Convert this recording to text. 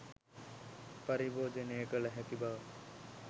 පරිභෝජනය කළ හැකි බව